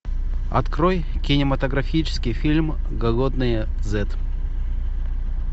открой кинематографический фильм голодные зет